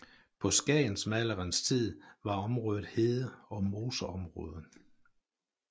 På Skagensmalerenes tid var området hede og moseområde